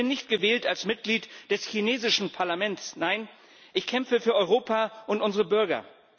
Ich bin nicht gewählt als Mitglied des chinesischen Parlaments nein, ich kämpfe für Europa und unsere Bürger!